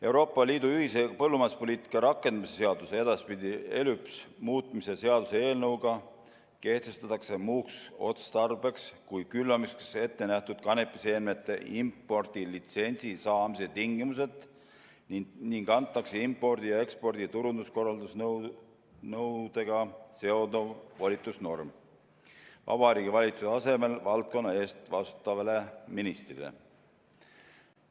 Euroopa Liidu ühise põllumajanduspoliitika rakendamise seaduse muutmise seaduse eelnõuga kehtestatakse muuks otstarbeks kui külvamiseks ette nähtud kanepiseemnete impordilitsentsi saamise tingimused ning antakse impordi ja ekspordi turukorraldusabinõudega seonduv volitusnorm Vabariigi Valitsuse asemel valdkonna eest vastutavale ministrile.